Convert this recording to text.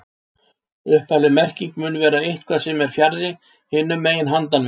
Upphafleg merking mun vera eitthvað sem er fjarri, hinum megin, handan við.